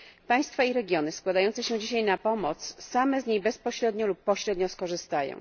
Państwa i regiony składające się dzisiaj na pomoc same z niej bezpośrednio lub pośrednio skorzystają.